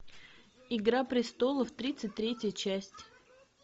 игра престолов тридцать третья часть